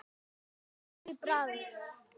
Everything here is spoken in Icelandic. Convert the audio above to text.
Ólíkur bragur.